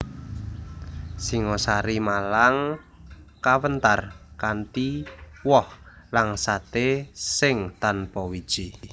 Singosari Malang kawentar kanthi woh langsaté sing tanpa wiji